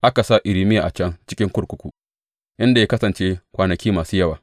Aka sa Irmiya a can cikin kurkuku, inda ya kasance kwanaki masu yawa.